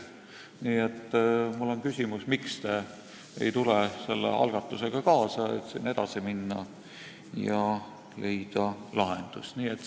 Nii et mul on küsimus: miks te ei tule selle algatusega kaasa, et siin edasi minna ja leida lahendus?